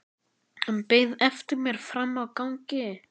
Hann beið eftir mér frammi á gangi.